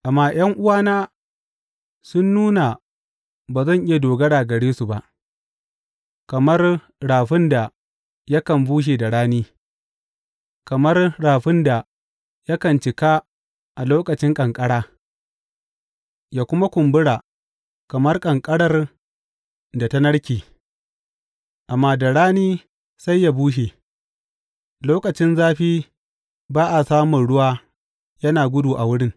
Amma ’yan’uwana sun nuna ba zan iya dogara gare su ba, kamar rafin da yakan bushe da rani, kamar rafin da yakan cika a lokacin ƙanƙara, yă kuma kumbura kamar ƙanƙarar da ta narke, amma da rani sai yă bushe, lokacin zafi ba a samun ruwa yana gudu a wurin.